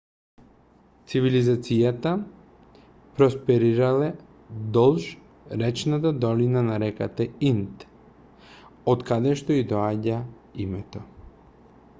цивилизацијата просперирала долж речната долина на реката инд од каде што ѝ доаѓа името